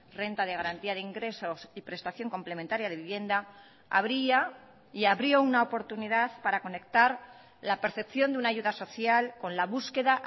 renta de garantía de ingresos y prestación complementaria de vivienda abría y abrió una oportunidad para conectar la percepción de una ayuda social con la búsqueda